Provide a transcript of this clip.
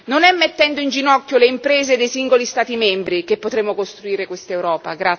Non è mettendo in ginocchio le imprese dei singoli Stati membri che potremo costruire quest'Europa.